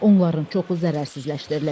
Onların çoxu zərərsizləşdirilib.